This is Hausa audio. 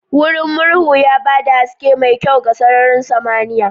Wurin murhu ya ba da haske mai kyau ga sararin samaniya.